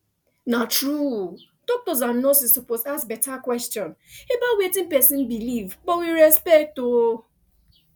na true doctors and nurses suppose ask better question about wetin person believe but with respect o